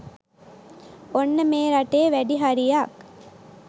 ඔන්න මේ රටේ වැඩි හරියක්